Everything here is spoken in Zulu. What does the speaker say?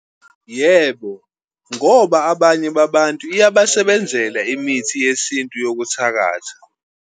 Yebo, ngoba abanye babantu iyabasebenzela imithi yesintu yokuthakatha.